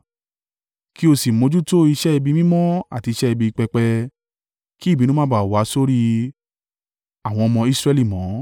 “Kí o sì mójútó iṣẹ́ ibi mímọ́ àti iṣẹ́ ibi pẹpẹ, kí ìbínú má ba wá sí orí àwọn ọmọ Israẹli mọ́.